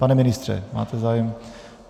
Pane ministře, máte zájem?